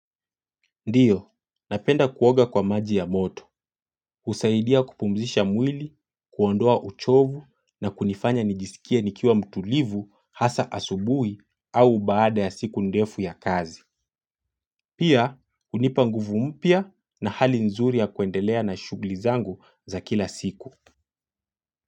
Ndio napenda kuoga kwa maji ya moto. Usaidia kupumzisha mwili, kuondoa uchovu na kunifanya nijisikie nikiwa mtulivu hasa asubui au baada ya siku ndefu ya kazi. Pia, unipanguvu mpya na hali nzuri ya kuendelea na shugli zangu za kila siku.